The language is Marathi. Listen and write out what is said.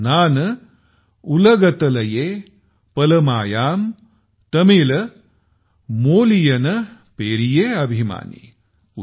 नान उलगतलये पलमायां तमिल मोलियन पेरिये अभिमानी ।